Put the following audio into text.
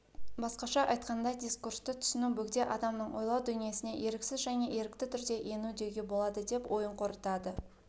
басқаша айтқанда дискурсты түсіну бөгде адамның ойлау дүниесіне еріксіз және ерікті түрде ену деуге болады деп ойын қорытады